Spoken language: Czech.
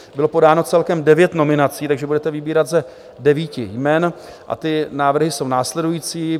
Bylo podáno celkem devět nominací, takže budete vybírat z devíti jmen, a ty návrhy jsou následující.